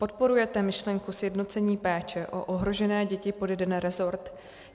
Podporujete myšlenku sjednocení péče o ohrožené děti pod jeden resort?